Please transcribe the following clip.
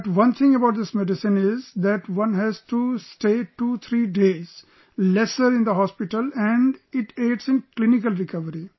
But one thing about this medicine is that one has to stay 2 3 days lesser in the hospital and it aids in clinical recovery